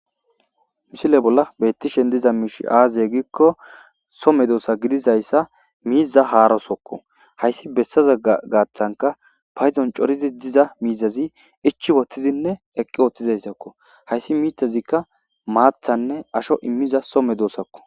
misile bolla bettishen diza miishi aaze gikko so medoosa gidizayssa miiza haarosokko hayssi bessaza gaaththanka paydon corizi diza miizazi ichi woothtizinne eqqi oothtizayssokko hayssi miithazikka maathanne asho immiza so medoosakko